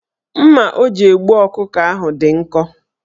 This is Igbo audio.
Mma o ji egbu ọkụkọ ahụ dị nkọ